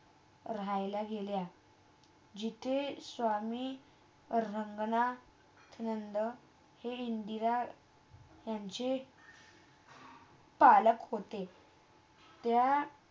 राहायला गेला. जिथे स्वामी रंगना थनंद इंदिरा त्यांचे पालक होते